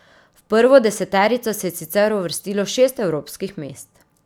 V prvo deseterico se je sicer uvrstilo šest evropskih mest.